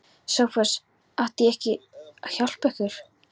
SOPHUS: Átti hann ekki að hjálpa yður?